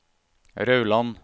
Rauland